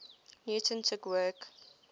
newton took work